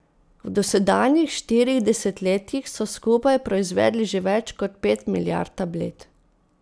V dosedanjih štirih desetletjih so skupaj proizvedli že več kot pet milijard tablet.